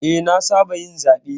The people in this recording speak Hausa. Eh, na saba yin zaɓe.